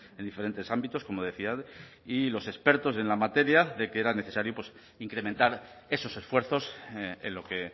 en diferentes ámbitos como decía y los expertos en la materia de que era necesario pues incrementar esos esfuerzos en lo que